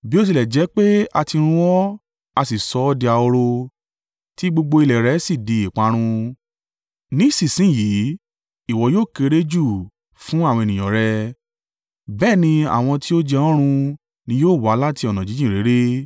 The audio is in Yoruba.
“Bí ó tilẹ̀ jẹ́ pé a tí run ọ́, a sì sọ ọ́ di ahoro tí gbogbo ilẹ̀ rẹ sì di ìparun, ní ìsinsin yìí, ìwọ yóò kéré jù fún àwọn ènìyàn rẹ, bẹ́ẹ̀ ni àwọn tí ó jẹ ọ́ run ni yóò wà láti ọ̀nà jíjìn réré.